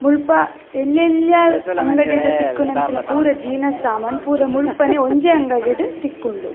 ಮುಳ್ಪ ಎಲ್ಲೆಲ್ಲ್ಯ ಅಂಗಡಿಡ್ ತಿಕ್ಕುನಂಚಿನ ಪೂರ ಜೀನಸ್ ಸಾಮನ್ ಪೂರ ಮುಲ್ಪನೆ ಒಂಜೆ ಅಂಗಡಿಡ್ ತಿಕ್ಕುಂಡು.